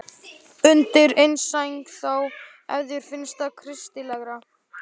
Undir eina sæng þá, ef þér finnst það kristilegra.